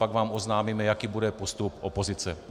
Pak vám oznámíme, jaký bude postup opozice.